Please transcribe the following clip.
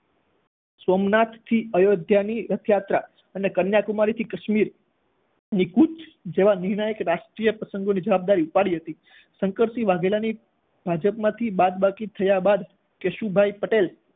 સોમનાથ થી અયોધ્યાની રથયાત્રા અને કન્યાકુમારી થી કાશ્મીર ની કુચ જેવા નિર્ણાયક રાષ્ટ્રીય પ્રસંગોની જવાબદારી ઉપાડી હતી. શંકરસિંહ વાધેલાની ભાજપમાંથી બાદબાકી થયા બાદ કેશુભાઈ પટેલ